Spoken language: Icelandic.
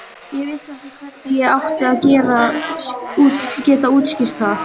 Ég vissi ekki hvernig ég átti að geta útskýrt það.